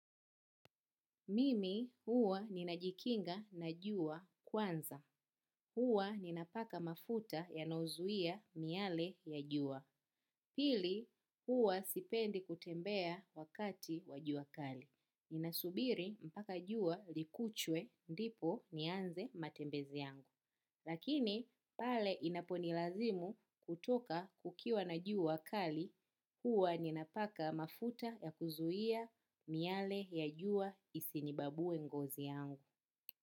Mimi huwa ni najikinga na jua kwanza. Huwa ni napaka mafuta ya nozuia miale ya juwa. Pili huwa sipendi kutembea wakati wa jua kali. Ninasubiri mpaka jua likuchwe ndipo nianze matembezi yangu. Lakini pale inaponilazimu kutoka kukiwa na jua kali. Huwa ninapaka mafuta ya kuzuia miale ya jua isinibabuwe ngozi yangu.